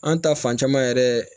An ta fan caman yɛrɛ